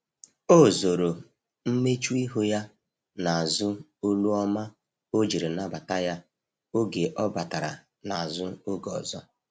o zoro mmechuihu ya na azu olu ọma ojiri nabata ya oge ọ batara na azụ oge ọzọ